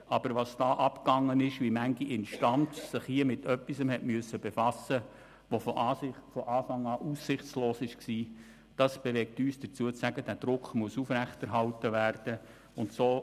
Aber das, was dabei vorgegangen ist, wie viele Instanzen sich mit etwas befassen mussten, das von Anfang an aussichtslos war – dies bewegt uns dazu, zu sagen, dass dieser Druck aufrechterhalten werden muss.